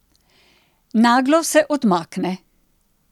Naglo se odmakne.